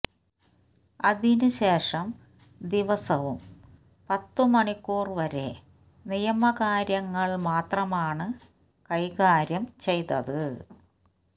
അതിന് ശേഷം ദിവസവും പത്ത് മണിക്കൂർ വരെ നിയമകാര്യങ്ങൾ മാത്രമാണ് കൈകാര്യം ചെയ്തത്